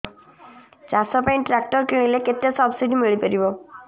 ଚାଷ ପାଇଁ ଟ୍ରାକ୍ଟର କିଣିଲେ କେତେ ସବ୍ସିଡି ମିଳିପାରିବ